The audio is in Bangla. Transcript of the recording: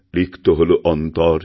রিক্ত হল অন্তর